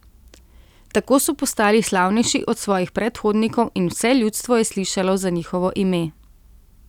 Tako so postali slavnejši od svojih predhodnikov in vse ljudstvo je slišalo za njihovo ime.